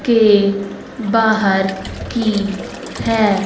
के बाहर की है--